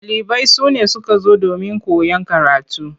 Ɗalibai sune suka zo domin koyan karatu.